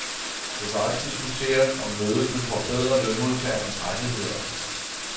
Det kan også diskuteres, om mødet vil forbedre lønmodtagernes rettigheder.